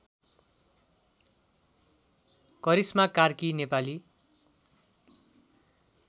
Karishma Karki Nepali